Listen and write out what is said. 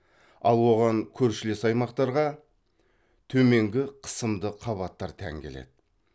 ал оған көршілес аймақтарға төменгі қысымды қабаттар тән келеді